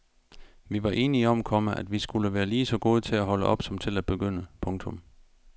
Vi var enige om, komma at vi skulle være lige så gode til at holde op som til at begynde. punktum